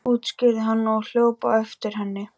útskýrði hann og hljóp á eftir henni.